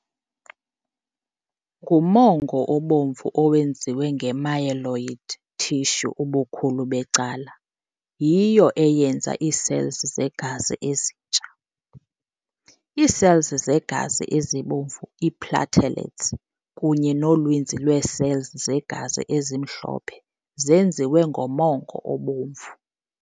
Ngumongo obomvu owenziwe nge-myeloid tissue ubukhulu becala, yiyo eyenza ii-cells zegazi ezintsha. Ii-cells zegazi ezibomvu, ii-platelets, kunye noninzi lwee-cells zegazi ezimhlophe zenziwe ngomongo obomvu.